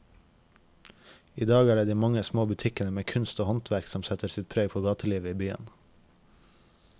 I dag er det de mange små butikkene med kunst og håndverk som setter sitt preg på gatelivet i byen.